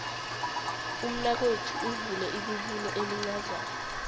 umnakwethu uvule ibubulo elincazana